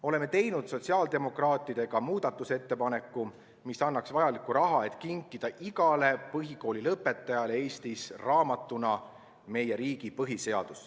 Oleme teinud sotsiaaldemokraatidena muudatusettepaneku, mis annaks vajaliku raha, et kinkida igale Eesti põhikoolilõpetajale raamatuna meie riigi põhiseaduse.